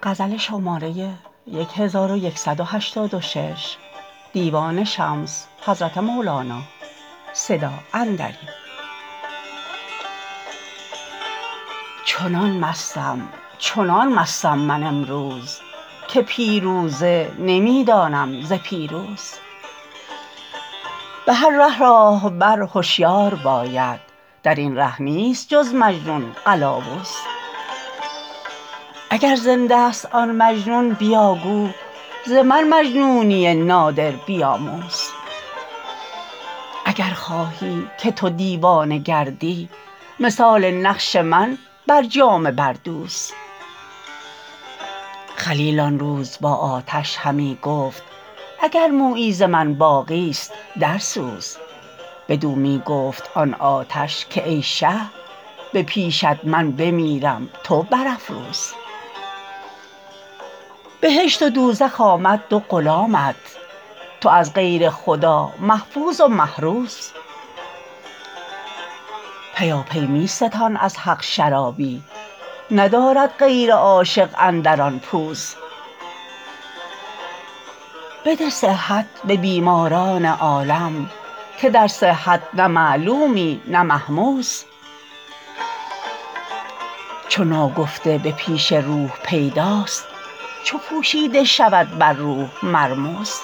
چنان مستم چنان مستم من امروز که پیروزه نمی دانم ز پیروز به هر ره راهبر هشیار باید در این ره نیست جز مجنون قلاوز اگر زنده ست آن مجنون بیا گو ز من مجنونی نادر بیاموز اگر خواهی که تو دیوانه گردی مثال نقش من بر جامه بردوز خلیل آن روز با آتش همی گفت اگر مویی ز من باقیست درسوز بدو می گفت آن آتش که ای شه به پیشت من بمیرم تو برافروز بهشت و دوزخ آمد دو غلامت تو از غیر خدا محفوظ و محروز پیاپی می ستان از حق شرابی ندارد غیر عاشق اندر آن پوز بده صحت به بیماران عالم که در صحت نه معلومی نه مهموز چو ناگفته به پیش روح پیداست چو پوشیده شود بر روح مرموز